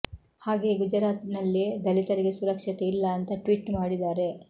ಹಾಗೆಯೇ ಗುಜರಾತ್ ನಲ್ಲಿ ದಲಿತರಿಗೆ ಸುರಕ್ಷತೆ ಇಲ್ಲಾ ಅಂತಾ ಟ್ವಿಟ್ ಮಾಡಿದ್ದಾರೆ